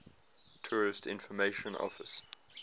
tourist information office